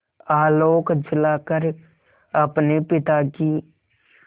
आलोक जलाकर अपने पिता की